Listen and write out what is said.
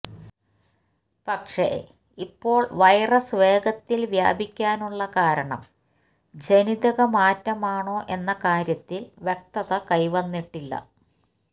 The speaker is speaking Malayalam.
പക്ഷെ ഇപ്പോള് വൈറസ് വേഗത്തില് വ്യാപിക്കാനുള്ള കാരണം ജനിതകമാറ്റമാണോ എന്ന കാര്യത്തില് വ്യക്തത കൈവന്നിട്ടില്ല